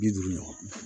Bi duuru ɲɔgɔn